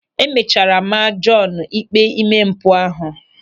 E mechara maa Jọọnu ịkpe ime mpụ ahụ.